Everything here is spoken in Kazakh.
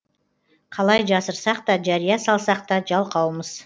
қалай жасырсақ та жария салсақта жалқаумыз